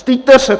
Styďte se!